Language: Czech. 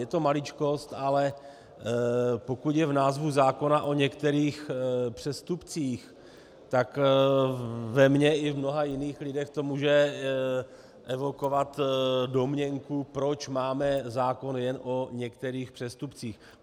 Je to maličkost, ale pokud je v názvu zákona "o některých přestupcích", tak ve mně i v mnoha jiných lidech to může evokovat domněnku, proč máme zákon jen o některých přestupcích.